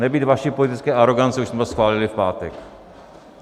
Nebýt vaší politické arogance, už jsme to schválili v pátek.